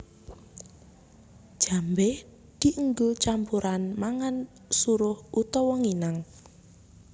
Jambé dienggo campuran mangan suruh utawa nginang